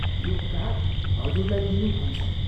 यो ' काट ' हजुरलाई दिनु भन्छ।